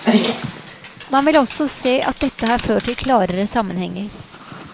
Man vil også se at dette har ført til klarere sammenhenger.